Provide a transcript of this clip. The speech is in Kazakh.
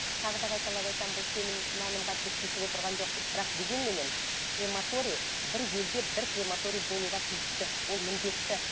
ы тағы да қайталап айтамын бұл сенім нанымға біз тиісіп отырған жоқпыз бірақ дегенменен кремтория бір елде бір крематория болуға тиісті ол міндетті